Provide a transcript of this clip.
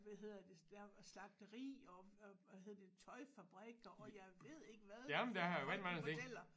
Hvad hedder det slagteri og og havde det tøjfabrikker og jeg ved ikke hvad folk de fortæller